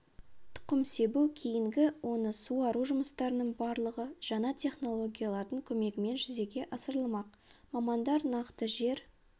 тұқым себу кейінгі оны суару жұмыстарының барлығы жаңа технологиялардың көмегімен жүзеге асырылмақ мамандар нақты жер